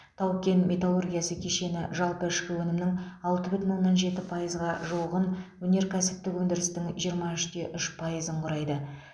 тау кен металлургиясы кешені жалпы ішкі өнімнің алты бүтін оннан жеті пайызға жуығын өнеркәсіптік өндірістің жиырма үш те үш пайызын құрайды